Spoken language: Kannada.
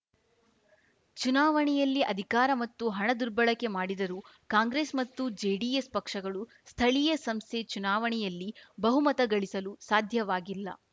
ಚುಣಾವಣೆಯಲ್ಲಿ ಅಧಿಕಾರ ಮತ್ತು ಹಣ ದುರ್ಬಳಕೆ ಮಾಡಿದರೂ ಕಾಂಗ್ರೆಸ್‌ ಮತ್ತು ಜೆಡಿಎಸ್‌ ಪಕ್ಷಗಳು ಸ್ಥಳೀಯ ಸಂಸ್ಥೆ ಚುನಾವಣೆಯಲ್ಲಿ ಬಹುಮತಗಳಿಸಲು ಸಾಧ್ಯವಾಗಿಲ್ಲ